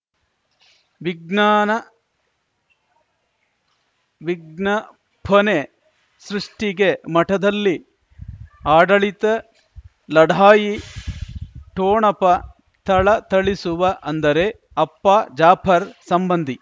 ವಿಜ್ಞಾನ ವಿಜ್ಞಾಫನೆ ಸೃಷ್ಟಿಗೆ ಮಠದಲ್ಲಿ ಆಡಳಿತ ಲಢಾಯಿ ಠೊಣಪ ಥಳಥಳಿಸುವ ಅಂದರೆ ಅಪ್ಪ ಜಾಪರ್ ಸಂಬಂಧಿ